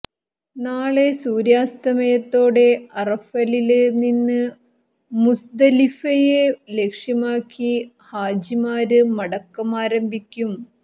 നാളെ സൂര്യാസ്തമയത്തോടെ അറഫയില് നിന്ന് മുസ്ദലിഫയെ ലക്ഷ്യമാക്കി ഹാജിമാര് മടക്കം ആരംഭിക്കും